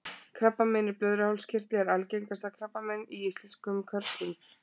krabbamein í blöðruhálskirtli er algengasta krabbamein hjá íslenskum körlum